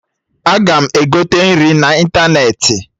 Aga m egote nri n'ịntanetị